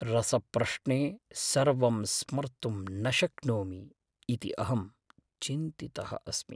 रसप्रश्ने सर्वं स्मर्तुं न शक्नोमि इति अहं चिन्तितः अस्मि।